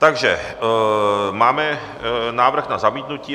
Takže máme návrh na zamítnutí.